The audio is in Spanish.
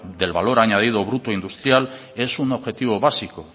del valor añadido bruto industrial es un objetivo básico